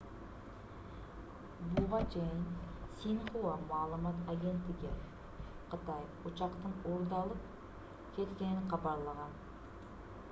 буга чейин синьхуа маалымат агенттиги кытай учактын уурдалып кеткенин кабарлаган